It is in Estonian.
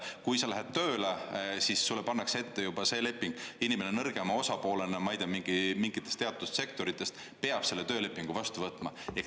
Kui sa lähed tööle, siis sulle pannakse ette see leping, inimene nõrgema osapoolena, ma ei tea, mingites teatud sektorites peab selle töölepingu vastu võtma.